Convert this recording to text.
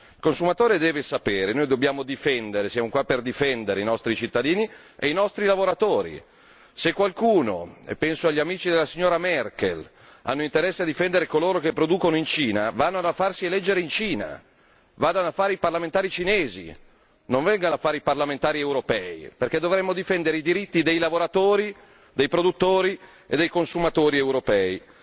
Il consumatore deve sapere e noi siamo qui per difendere i nostri cittadini e i nostri lavoratori. Se qualcuno e mi riferisco agli amici della signora Merkel ha interesse a difendere coloro che producono in Cina, vada a farsi eleggere in Cina, vada a fare il parlamentare cinese e non il parlamentare europeo, perché dovrebbe difendere i diritti dei lavoratori, dei produttori e dei consumatori europei.